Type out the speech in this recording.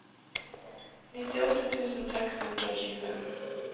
nittiåtte tusen seks hundre og tjue